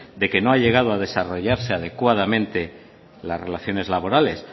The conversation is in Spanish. de que no ha llegado a desarrollarse adecuadamente las relaciones laborales